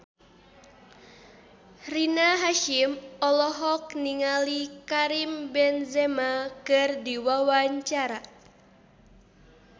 Rina Hasyim olohok ningali Karim Benzema keur diwawancara